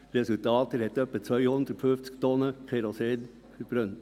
Das Resultat: Er hat etwa 250 Tonnen Kerosin verbrannt.